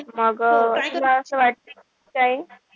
मग तुला असं वाटय काय,